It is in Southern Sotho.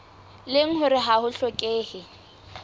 leng hore ha ho hlokehe